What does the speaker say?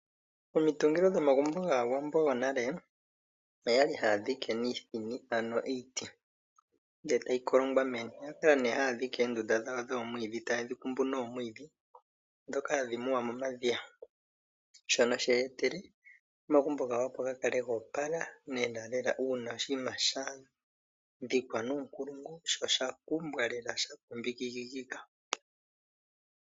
Omitungilo dhomagumbo gaawambo yonale oyali haya dhike niithini ano iiti ndele tayi kolongwa meni. Oya kala nee haya dhike oondunda dhawo dhomwiidhi taye dhi kumbu nomwiidhi ndhoka hadhi muwa momadhiya shono she ye etele omagumbo gawo opo ga kale go opala lelalela uuna sha dhikwa nuunkulungu sho oshakumbwa lela sha kumbikika.